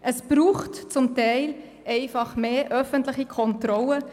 Es braucht zum Teil einfach mehr öffentliche Kontrolle.